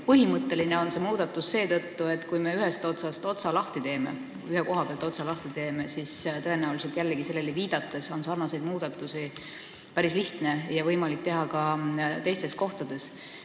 Põhimõtteline on see muudatus seetõttu, et kui me ühe koha pealt otsa lahti teeme, siis on sellele viidates sarnaseid muudatusi päris lihtne ja võimalik teha ka teistes kohtades.